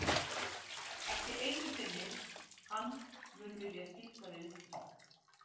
Ekki einu sinni hann mun vilja skipta við ykkur.